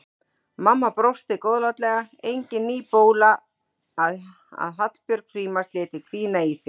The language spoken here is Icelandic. Mamma brosti góðlátlega, engin ný bóla að Hallbjörg Frímanns léti hvína í sér.